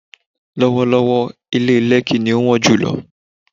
lọ́wọ́lọ́wọ́́, ilé Lẹ́kí ni ó wọ́n jùlọ.